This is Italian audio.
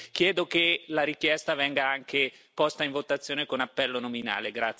Chiedo che la richiesta venga posta in votazione con appello nominale.